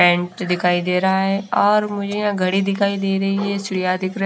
Paint दिखाई दे रहा है और मुझे यहां घड़ी दिखाई दे रही है चिड़िया दिख रहा है।